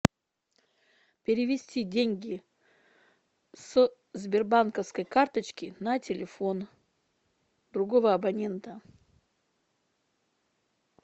перевести деньги с сбербанковской карточки на телефон другого абонента